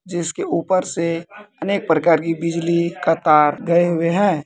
जिसके ऊपर से अनेक प्रकार की बिजली का तार गए हुए हैं।